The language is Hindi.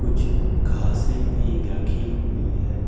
कुछ घासे भी रखी हुई है।